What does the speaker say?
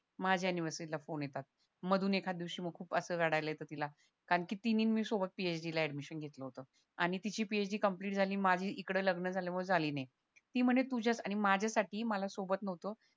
माझ्या anniversary phone येतात मधून एखाद दिवशी मग असं खूप रडायला येत तिला कारण ती मी मी सोबत PhD ऍडमिशन घेतलं होत आणि तिची PhD कम्प्लिट झाली आणि माझी इकडं लग्न झाल्यामुळे झाली नाही ती म्हणे तुझ्यात आणि माझ्यासाठी मला सोबत नव्हतो